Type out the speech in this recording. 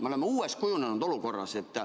Me oleme uues olukorras.